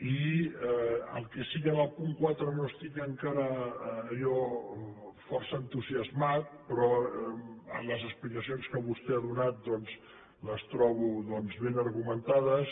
i el que sí que en el punt quatre no estic encara allò força entusiasmat però les explicacions que vostè ha donat doncs les trobo ben argumentades